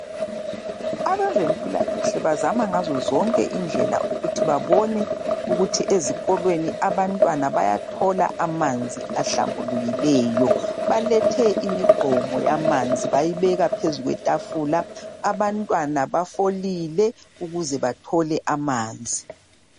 Abezempilakahle bazama ngazo zonke indlela ukuthi babone ukuthi ezikolweni abantwana bayathola amanzi ahlambulukileyo. Balethe imigqomo yamanzi bayibeka phezu kwetafula. Abantwana bafolile ukuze bathole amanzi.